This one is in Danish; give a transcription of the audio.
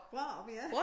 Brårup ja